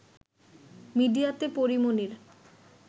মিডিয়াতে পরী মনির